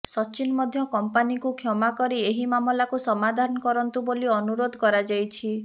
ସଚିନ ମଧ୍ୟ କମ୍ପାନୀକୁ କ୍ଷମା କରି ଏହି ମାମଲାକୁ ସମାଧାନ କରନ୍ତୁ ବୋଲି ଅନୁରୋଧ କରାଯାଇଛି